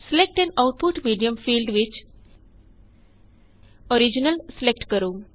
select an output medium field ਵਿੱਚ original select ਕਰੋ